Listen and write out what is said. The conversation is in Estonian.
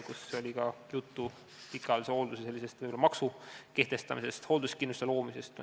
Juttu on olnud pikaajalise hoolduse n-ö maksu kehtestamisest, hoolduskindlustuse loomisest.